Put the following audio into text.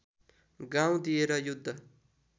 गाउँ दिएर युद्ध